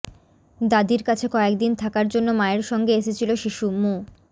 দাদির কাছে কয়েক দিন থাকার জন্য মায়ের সঙ্গে এসেছিল শিশু মো